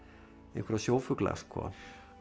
einhverja sjófugla sko